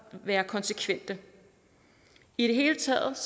være konsekvente i det hele taget